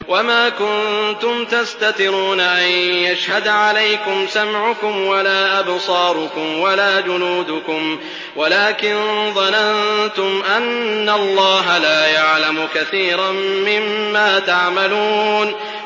وَمَا كُنتُمْ تَسْتَتِرُونَ أَن يَشْهَدَ عَلَيْكُمْ سَمْعُكُمْ وَلَا أَبْصَارُكُمْ وَلَا جُلُودُكُمْ وَلَٰكِن ظَنَنتُمْ أَنَّ اللَّهَ لَا يَعْلَمُ كَثِيرًا مِّمَّا تَعْمَلُونَ